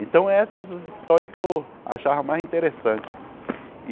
Então essas as histórias que eu achava mais interessante.